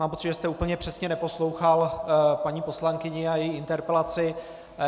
Mám pocit, že jste úplně přesně neposlouchal paní poslankyni a její interpelaci.